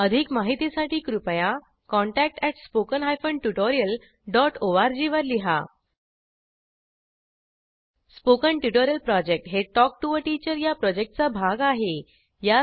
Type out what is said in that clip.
अधिक माहितीसाठी कृपया contact at spoken hyphen tutorial dot ओआरजी R G spoken tutorial project हे टॉक टू टीचर या प्रॉजेक्टचा भाग आहे